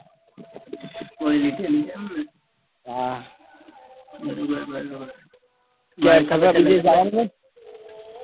ગોળી લીધેલી છે